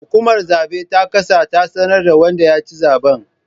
Hukumar zabe ta kasa ta sanar da wanda ya ci zaben